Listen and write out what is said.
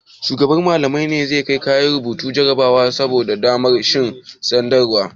Shugaban Mallamai ne zai kai yaran rubuta jarabawar samun damar shiga sakandare?